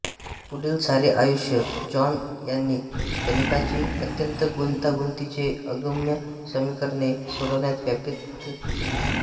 पुढील सारे आयुष्य जॉन यांनी गणिताची अत्यंत गुंतागुंतीची अगम्य समीकरणे सोडवण्यात व्यतीत केले